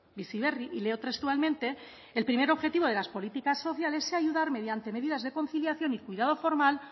bizi berri y leo textualmente el primer objetivo de las políticas sociales sea ayudar mediante medidas de conciliación y cuidado formal